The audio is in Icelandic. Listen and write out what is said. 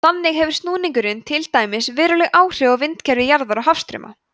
þannig hefur snúningurinn til dæmis veruleg áhrif á vindakerfi jarðar og hafstrauma